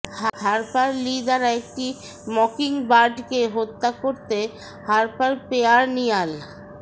Harper Lee দ্বারা একটি মকিংবার্ডকে হত্যা করতে হার্পার পেয়ারনিয়াল